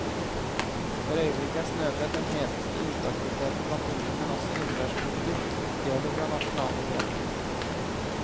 For øyeblikket er snøbrett den heteste uteaktiviteten blant unge, men også innendørssporter stjeler fra nasjonalidretten.